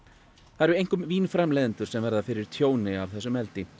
það eru einkum vínframleiðendur sem verða fyrir tjóni af þessu